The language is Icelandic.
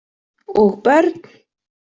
Og börn.